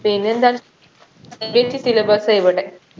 പിന്നെന്താണ് CBSE syllabus ആ ഇവിടെ